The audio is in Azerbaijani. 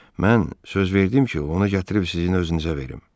Mən söz verdim ki, ona gətirib sizin özünüzə verim.